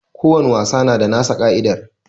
Ko wani wasa na da nasa ka'idar